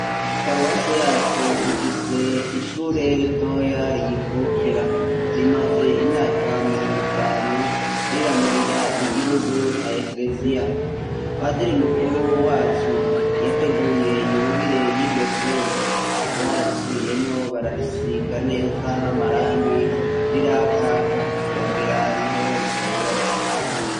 Paruwasi yacu ifise ishure ritoya riyikukira, rimaze imyaka mirongo itanu, riramurira igihugu na ekeleziya. Patiri mukuru wacu yateguye yubire y'iryo shure. Bararisubiyemwo bararisiga neza n'amarangi rirakaka wogira niho ricubakwa.